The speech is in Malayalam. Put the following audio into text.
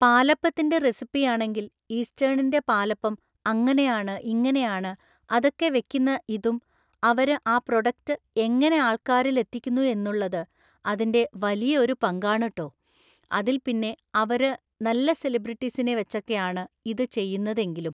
പാലപ്പത്തിൻ്റെ റെസിപ്പി ആണെങ്കിൽ ഈസ്റ്റേൺൻ്റെ പാലപ്പം അങ്ങനെയാണ് ഇങ്ങനെയാണ് അതൊക്കെ വെക്കുന്ന ഇതും അവര് ആ പ്രോഡക്റ്റ് എങ്ങനെ ആൾക്കാരിൽ എത്തിക്കുന്നു എന്നുള്ളത് അതിൻ്റെ വലിയ ഒരു പങ്കാണ് ട്ടോ അതിൽ പിന്നെ അവര് നല്ല സെലിബ്രിറ്റിസിനെ വെച്ചൊക്കെ ആണ് ഇത് ചെയ്യുന്നത് എങ്കിലും